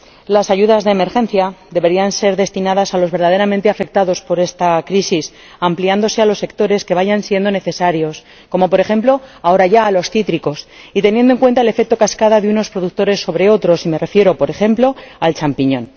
Las ayudas de emergencia deberían ser destinadas a los verdaderamente afectados por esta crisis, ampliándose a los sectores que vayan siendo necesarios —como, por ejemplo, ahora ya a los cítricos— y teniendo en cuenta el efecto cascada de unos productores sobre otros —y me refiero, por ejemplo, al champiñón—.